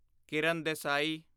Kiran Desai